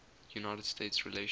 united states relations